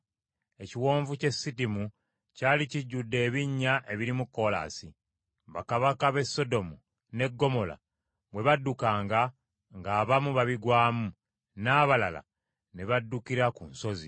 Ekiwonvu ky’e Sidimu kyali kijjudde ebinnya ebirimu kolaasi; bakabaka b’e Sodomu ne Ggomola bwe baddukanga ng’abamu babigwamu, n’abalala ne baddukira ku nsozi.